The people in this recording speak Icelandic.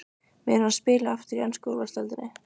Mun hann spila aftur í ensku úrvalsdeildinni?